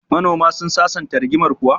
Manoma sun sasanta rigimar kuwa?